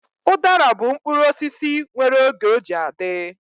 Udara bụ mkpụrụ osisi nwere oge ọ ji adị